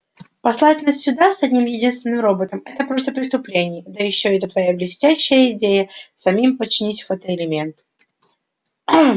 послать нас сюда с одним единственным роботом это просто преступление да ещё эта твоя блестящая идея самим починить фотоэлементы